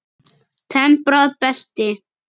Temprað belti.